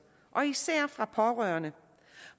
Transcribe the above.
især fra pårørende